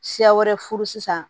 Siya wɛrɛ furusi sisan